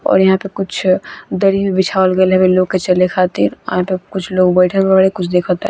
और यहाँ पे कुछ दरी भी बीछवाल गेल हवे लोग के चले खातिर और यहाँ पे कुछ लोग बैठल बारे कुछ देखता।